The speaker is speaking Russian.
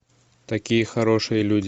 такие хорошие люди